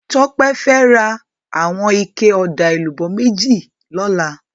Tope fè rá iwòn iké òdá élúbò méjí lòlá